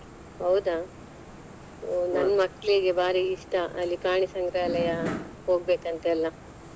ಹೌದ ನನ್ ಮಕ್ಲಿಗೆ ಬಾರೀ ಇಷ್ಟ ಅಲ್ಲಿ ಪ್ರಾಣಿ ಸಂಗ್ರಾಲಯ ಹೋಗಬೇಕಂತ ಎಲ್ಲ.